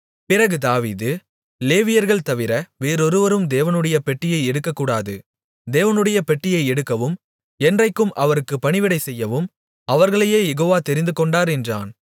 பிறகு தாவீது லேவியர்கள் தவிர வேறொருவரும் தேவனுடைய பெட்டியை எடுக்கக் கூடாது தேவனுடைய பெட்டியை எடுக்கவும் என்றைக்கும் அவருக்குப் பணிவிடைசெய்யவும் அவர்களையே யெகோவா தெரிந்துகொண்டார் என்றான்